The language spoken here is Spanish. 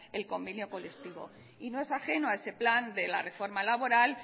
el convenio colectivo y no es ajeno a ese plan de la reforma laboral